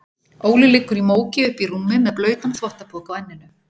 Óli liggur í móki uppí rúmi með blautan þvottapoka á enninu.